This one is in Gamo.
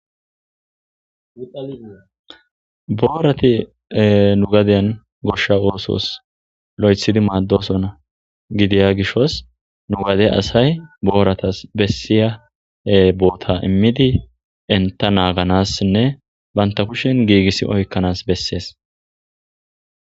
boorati nu gadeyan goshsha oosos lo7ethidi maaddosonna gidiya gishos nu gade asay booratas bessiya boota immidi enta naaganassinne banta kushen giigissi oykkanas bessees